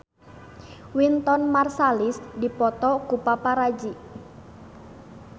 Wynton Marsalis dipoto ku paparazi